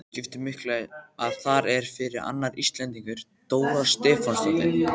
Skipti miklu að þar er fyrir annar Íslendingur, Dóra Stefánsdóttir?